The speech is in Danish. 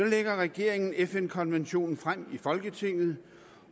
lægger regeringen fn konventionen frem i folketinget